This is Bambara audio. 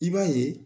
I b'a ye